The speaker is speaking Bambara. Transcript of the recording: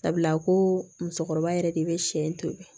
Sabula ko musokɔrɔba yɛrɛ de bɛ sɛ in tobi